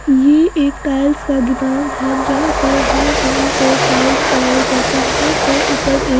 ये एक टाइल्स का गुदाम है जहां पर हर रंग के टाइल्स पाए जाते यहां पर ऊपर एक--